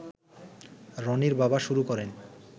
রনির বাবা শুরু করেন